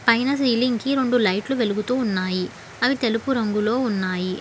పైన సీలింగ్ కి రెండు లైట్ లు వెలుగుతూ ఉన్నాయి. అవి తెలుపు రంగులో ఉన్నాయి.